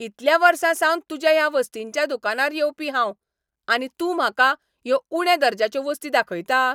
इतल्या वर्सांसावन तुज्या ह्या वस्तींच्या दुकानार येवपी हांव, आनी तूं म्हाका ह्यो उण्या दर्जाच्यो वस्ती दाखयता?